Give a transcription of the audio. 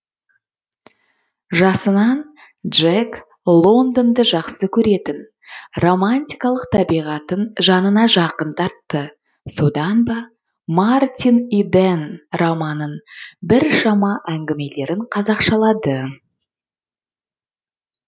жасынан джек лондонды жақсы көретін романтикалық табиғатын жанына жақын тартты содан ба мартин иден романын біршама әңгімелерін қазақшалады